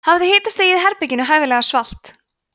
hafðu hitastigið í svefnherberginu hæfilega svalt